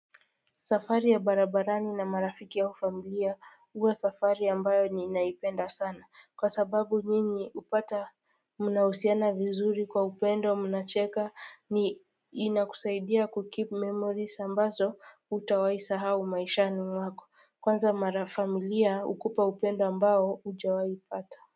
Safari ya barabarani na marafiki au familia huwa safari ambayo ninaipenda sana kwa sababu nyinyi hupata mnahusiana vizuri kwa upendo mnacheka ni inakusaidia kukeep memories ambazo hutawai sahau maishani mwako kwanza mara familia hukupa upendo ambao hujawai pata.